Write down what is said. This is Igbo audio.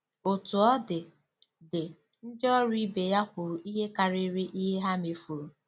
Otú ọ dị, dị, ndị ọrụ ibe ya kwuru ihe karịrị ihe ha mefuru.